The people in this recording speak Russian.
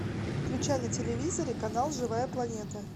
включай на телевизоре канал живая планета